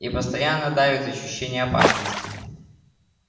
и постоянно давит ощущение опасности